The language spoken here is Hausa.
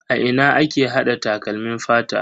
A ina ake hada takalmin fata?